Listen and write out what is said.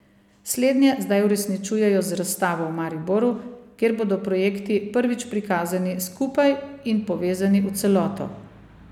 Slednje zdaj uresničujejo z razstavo v Mariboru, kjer bodo projekti prvič prikazani skupaj in povezani v celoto.